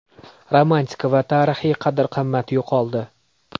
Romantika va tarixiy qadr-qimmat yo‘qoldi.